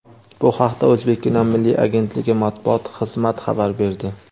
Bu haqda "O‘zbekkino" milliy agentligi matbuot xizmati xabar berdi.